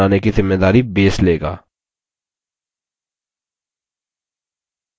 number को खुद से बनाने की ज़िम्मेदारी base लेगा